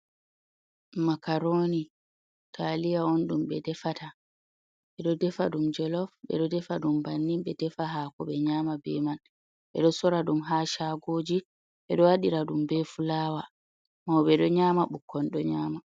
Makaroni taliya on ɗum ɓe defata. Ɓe do defa ɗum jelof ɓe ɗo defa ɗum bannin ɓe ɗo defa hako ɓe nyama be man ɓe ɗo sora ɗum ha shagoji ɓe ɗo waɗira dum be fulawa. Mauɓe ɗo nyama bukkon ɗo nyama.